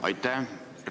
Aitäh!